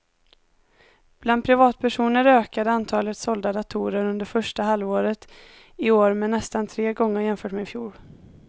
Bland privatpersoner ökade antalet sålda datorer under första halvåret i år med nästan tre gånger jämfört med i fjol.